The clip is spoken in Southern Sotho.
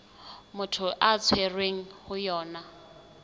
motho a tshwerweng ho yona